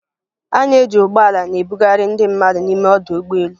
A na-eji ụgbọ ala na-ebugharị ndị mmadụ n'ime ọdụ ụgbọ elu